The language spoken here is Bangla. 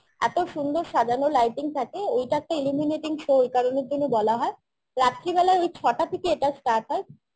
এত সুন্দর সাজানো lighting থাকে ওইটা একটা illuminating show ওই কারণের জন্য বলা হয় রাত্রিবেলা ওই ছটা থেকে এটা start হয়